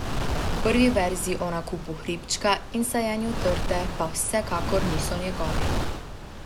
Prvi verzi o nakupu hribčka in sajenju trte pa vsekakor niso njegovi.